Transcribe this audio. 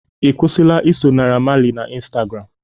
Ị kwusila iso Naira Marley na Instagram